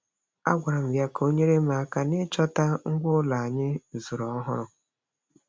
A gwara m ya ka o nyere m aka nịchọta ngwa ụlọ anyị zụrụ ọhụrụ.